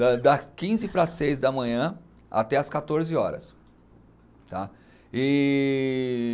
Da da quinze para as seis da manhã até às quatorze horas, tá? E